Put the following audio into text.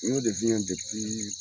Ɲ'o de f'i ɲɛ